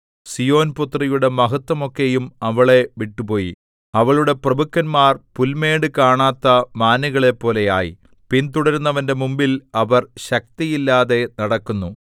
സീയോൻപുത്രിയുടെ മഹത്വമൊക്കെയും അവളെ വിട്ടുപോയി അവളുടെ പ്രഭുക്കന്മാർ പുൽമേട് കാണാത്ത മാനുകളെപ്പോലെ ആയി പിന്തുടരുന്നവന്റെ മുമ്പിൽ അവർ ശക്തിയില്ലാതെ നടക്കുന്നു